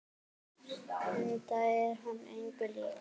Enda er hún engu lík.